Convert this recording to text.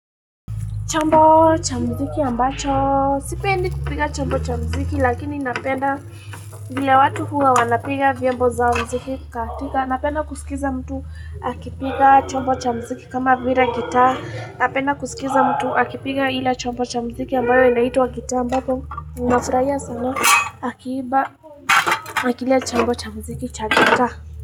Chombo cha mziki ambacho. Sipendi kupiga chombo cha mziki lakini napenda vile watu huwa wanapiga vyembo za mziki kukatika. Napenda kusikiza mtu akipiga chombo cha mziki kama vila gitaa Napenda kusikiza mtu akipiga ile chombo cha mziki ambayo inaitwa gitaa. Ambapo nafurahia sana akiimba na kile chombo cha mziki cha gitaa.